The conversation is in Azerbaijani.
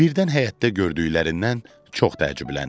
Birdən həyətdə gördüklərindən çox təəccübləndi.